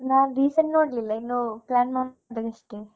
ನಾನು recent ನೋಡ್ಲಿಲ್ಲ ಇನ್ನು plan ಮಾಡ್ತಾ ಅಷ್ಟೇ.